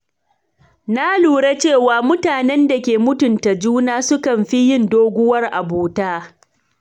Na lura cewa mutanen da ke mutunta juna sukan fi yin doguwar abota.